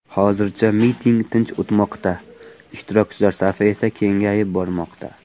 Hozircha miting tinch o‘tmoqda, ishtirokchilar safi esa kengayib bormoqda.